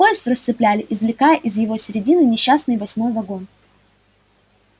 поезд расцепляли извлекая из его середины несчастный восьмой вагон